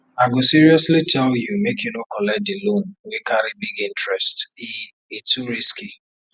i go seriously tell you make you no collect the loan wey carry big interest e e too risky